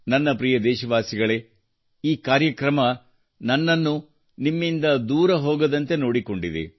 ನನ್ನ ಪ್ರಿಯ ದೇಶವಾಸಿಗಳೇ ಈ ಕಾರ್ಯಕ್ರಮವು ನನ್ನನ್ನು ನಿಮ್ಮಿಂದ ದೂರ ಹೋಗದಂತೆ ನೋಡಿಕೊಂಡಿದೆ